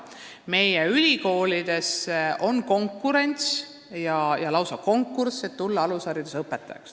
Meie ülikoolides on konkurents, lausa konkurss alushariduse õpetaja kohtadele.